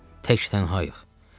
Tək tənhaıyıq.”